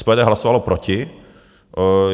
SPD hlasovalo proti.